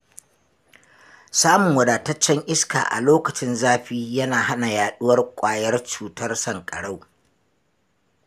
Samun wadataccen iska a lokacin zafi yana hana yaɗuwar ƙwayar cutar sanƙarau.